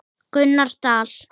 Gunnar Dal.